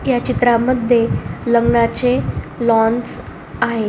ह्या चित्रमध्ये लग्नाचे लॉंन आहे.